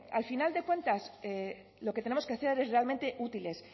al final de cuentas lo que tenemos que ser es realmente útiles